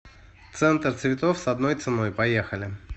центр цветов с одной ценой поехали